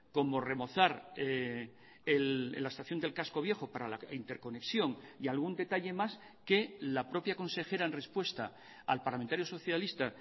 como remozar la estación del casco viejo para la interconexión y algún detalle más que la propia consejera en respuesta al parlamentario socialista